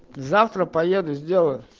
завтра поеду сделаю